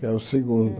Que é o segundo.